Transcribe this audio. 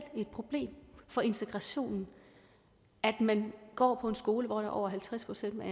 et problem for integrationen at man går på en skole hvor der er over halvtreds procent af